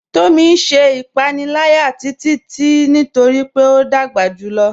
Tomí n ṣẹ̀ ìpànìlàyà Títití nítorí pé o dágbà júlọ̀.